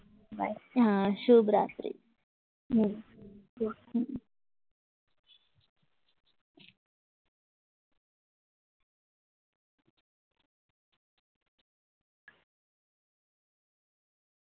શુભ રાત્રી